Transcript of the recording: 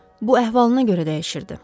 Bu əhvalına görə dəyişirdi.